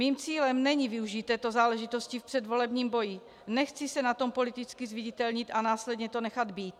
Mým cílem není využít této záležitosti v předvolebním boji, nechci se na tom politicky zviditelnit a následně to nechat být.